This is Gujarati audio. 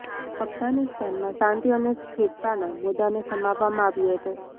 અફઘાનિસ્તાનમાં શાંતિ અને સ્થિરતાના મુદ્દાને સમાવવામાં આવ્યો હતો